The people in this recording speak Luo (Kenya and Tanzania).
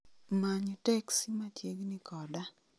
Many teksi machiegni koda